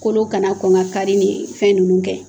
Kolo kana kɔn ka kari ni ye fɛn ninnu kɛ